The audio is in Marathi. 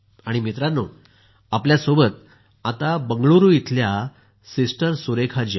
मित्रांनो आपल्या सोबत आता बंगळूरू इथल्या सिस्टर सुरेखा जी आहेत